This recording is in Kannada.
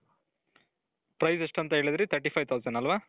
price ಎಷ್ಟಂತ ಹೇಳಿದ್ರಿ thirty five thousand ಅಲ್ವಾ?